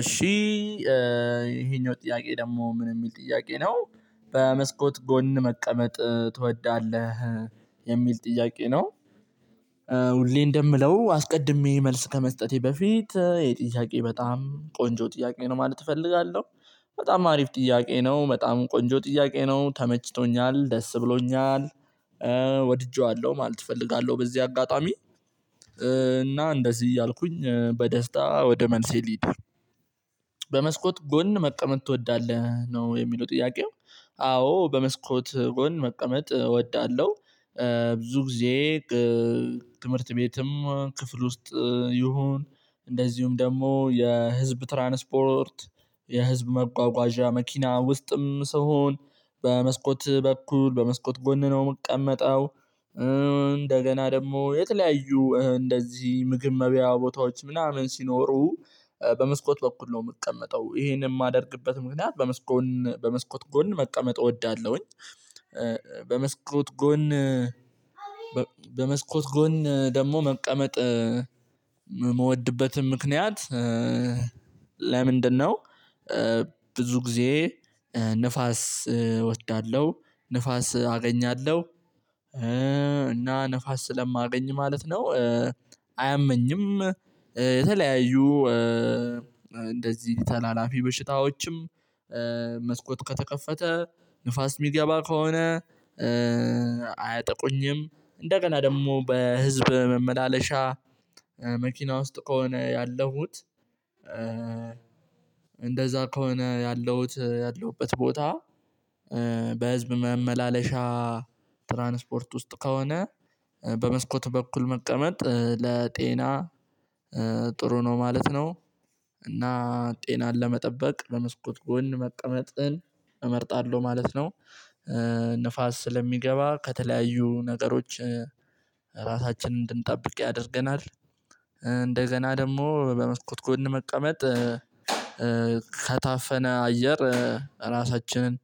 እሺ ይሄኛው ጥያቄ ደግሞ ምን የሚል ጥያቄ ነው። በመስኮት ጎን መቀመጥ ትወዳለህ? የሚል ጥያቄ ነው። ሁሌ እንደምለው አስቀድሜ መልስ ከመስጠቴ በፊት ይሄ ጥያቄ በጣም ቆንጆ ጥያቄ ነው ማለት እፈልጋለሁ። በጣም አሪፍ ጥያቄ ነው በጣም ቆንጆ ጥያቄ ነው ተመችቶኛል ደስ ብሎኛል። ወድጄዋለሁ ማለት እፈልጋለሁ። በዚህ አጋጣሚ እና እንደዚህ እያልኩኝ በደስታ ወደ መልሴ ልሂድ። በመስኮት ጎን መቀመጥ ትወዳለህ ነው የሚለው ጥያቄው። አዎ በመስኮት ጎን መቀመጥ እወዳለሁ። ብዙ ጊዜ ትምህርት ቤትም ክፍል ውስጥ ይሁን እንደዚሁም ደግሞ የህዝብ ትራንስፖርት የህዝብ መጓጓዣ መኪና ውስጥም ስሆን በመስኮት በኩል በመስኮት ጎን ነው የምቀመጠው። እንደገና ደግሞ የተለያዩ እንደዚህ ምግብ መብያ ቦታዎች ምናምን ሲኖሩ በመስኮት በኩል ነው የምቀመጠው ይሄን የማደርግበት ምክንያት በመስጎን በመስኮት ጎን መቀመጥ እወዳለሁኝ። በመስ በመስኮት ጎን ደግሞ መቀመጥ የምወድበትም ምክንያት ለምንድነው? ብዙ ጊዜ ንፋስ እወዳለሁ ንፋስ አገኛለሁ እና ንፋስ ስለማገኝ ማለት ነው። አያመኝም። የተለያዩ እንደዚህ ተላላፊ በሽታዎችም መስኮት ከተከፈተ ንፋስ የሚገባ ከሆነ። አያጠቁኝም እንደገና ደግሞ በህዝብ መመላለሻ መኪና ውስጥ ከሆነ ያለሁት። እንደዛ ከሆነ ያለሁት ያለውበት ቦታ በህዝብ መመላለሻ ትራንስፖርት ውስጥ ከሆነ በመስኮት በኩል መቀመጥ ለጤና ጥሩ ነው ማለት ነው። እና ጤናን ለመጠበቅ በመስኮት ጎን መቀመጥን እመርጣለሁ ማለት ነው። ንፋስ ስለሚገባ ከተለያዩ ነገሮች ራሳችንን እንድንጠብቅ ያደርገናል። እንደ ገና ደግሞ በመስኮት ጎን መቀመጥ ከታፈነ አየር ራሳችንን